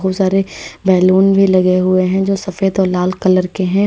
बहोत सारे ब्याल्युन भी लगे हुए हैं जो सफेद और लाल कलर के हैं।